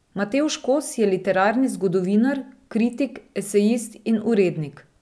Matevž Kos je literarni zgodovinar, kritik, esejist in urednik.